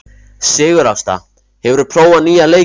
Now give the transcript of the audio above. Sigurásta, hefur þú prófað nýja leikinn?